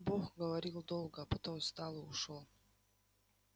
бог говорил долго а потом встал и ушёл